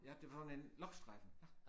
Ja det var sådan en lochstreifen